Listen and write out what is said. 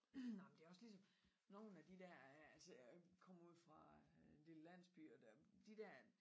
Nej men det også ligesom nogle de der øh altså jeg kommer ude fra øh en lille landsby og de dér